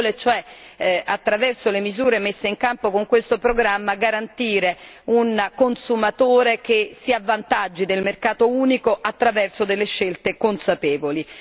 Si vuole cioè garantire, attraverso le misure messe in campo con questo programma, che il consumatore tragga vantaggio dal mercato unico attraverso delle scelte consapevoli.